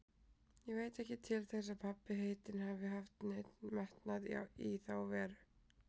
Ég veit ekki til þess að pabbi heitinn hafi haft neinn metnað í þá veru.